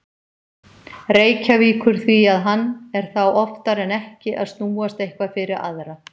Reykjavíkur því að hann er þá oftar en ekki að snúast eitthvað fyrir aðra.